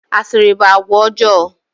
Asịrị bụ àgwà ọjọọ.